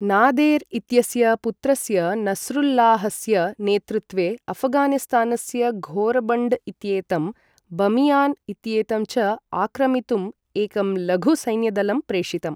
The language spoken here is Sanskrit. नादेर् इत्यस्य पुत्रस्य नस्रुल्लाहस्य नेतृत्वे अफ़गानिस्तानस्य घोरबण्ड् इत्येतं, बमियान् इत्येतं च आक्रमितुम् एकं लघु सैन्यदलं प्रेषितम्।